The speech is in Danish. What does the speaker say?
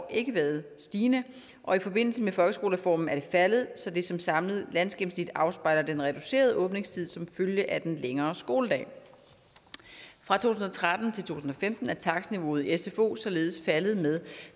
ikke været stigende og i forbindelse med folkeskolereformen er det faldet så det som samlet landsgennemsnit afspejler den reducerede åbningstid som følge af den længere skoledag fra to tusind og tretten til to tusind og femten er takstniveauet i sfo således faldet med